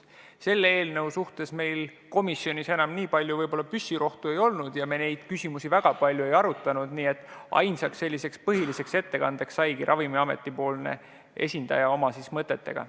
Selle eelnõu puhul meil komisjonis enam nii palju püssirohtu ei olnud ja me neid küsimusi väga palju ei arutanud, nii et ainus põhiline ettekandja oligi Ravimiameti esindaja oma mõtetega.